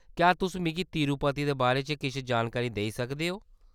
क्या तुस मिगी तिरुपति दे बारे च किश जानकारी देई सकदे ओ ?